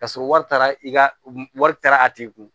Ka sɔrɔ wari taara i ka wari taara a tigi kun